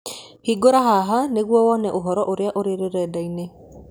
Hingũra haha nĩguo wone ũhoro ũrĩa ũrĩ rũrenda-inĩ.